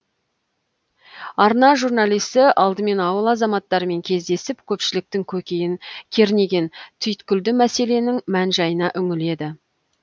арна журналисі алдымен ауыл азаматтарымен кездесіп көпшіліктің көкейін кернеген түйткілді мәселенің мән жайына үңіледі